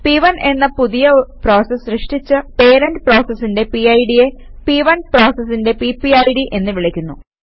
പ്1 എന്ന പുതിയ പ്രോസസ് സൃഷ്ടിച്ച പേരന്റ് പ്രോസസിന്റെ പിഡ് യെ P1പ്രോസസിന്റെ പിപിഡ് എന്ന് വിളിക്കുന്നു